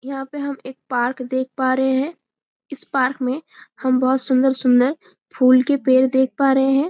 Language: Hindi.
यहाँ पे हम एक पार्क देख पा रहे है इस पार्क में हम बहुत सुंदर-सुंदर फूल के पेड़ देख पा रहे है।